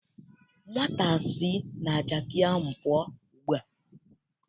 Nwata si na jaakị ahụ pụọ ugbu a!